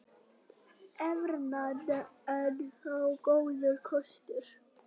Evran enn þá góður kostur